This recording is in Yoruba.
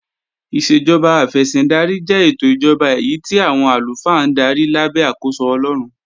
Ìṣèjọba afẹ̀sìndarí jẹ́ ètò ìjọba èyí tí àwọn àlùfáà ń darí lábẹ́ àkóso Ọlọ́run